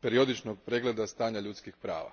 periodičnog pregleda stanja ljudskih prava.